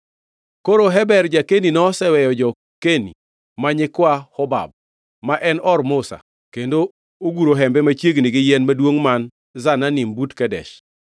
Koro Heber ja-Keni noseweyo jo-Keni ma nyikwa Hobab, ma en or Musa, kendo oguro hembe machiegni gi yien maduongʼ man Zananim but Kedesh.